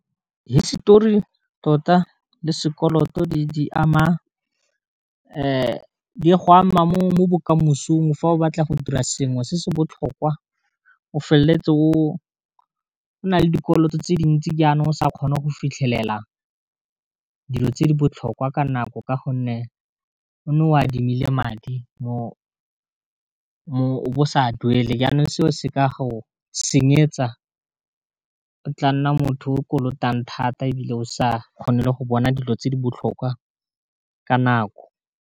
Histori tota le sekoloto di ama di go ama mo bokamosong fa o batla go dira sengwe se se botlhokwa o feleletse o na le dikoloto tse dintsi, jaana o sa kgone go fitlhelela dilo tse di botlhokwa ka nako ka gonne o ne o adimile madi o be o sa duele, jaanong seo se ka go senyetsa o tla nna motho o kolotang thata e bile o sa kgone le go bona dilo tse di botlhokwa ka nako.